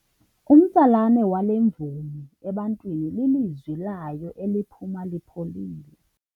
Umtsalane wale mvumi ebantwini lilizwi layo eliphuma lipholile.